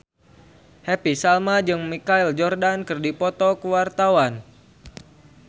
Happy Salma jeung Michael Jordan keur dipoto ku wartawan